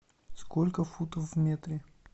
сколько футов в метре